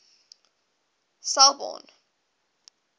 selbourne